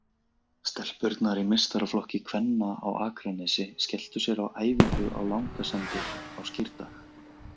Stelpurnar í meistaraflokki kvenna á Akranesi skelltu sér á æfingu á Langasandi á Skírdag.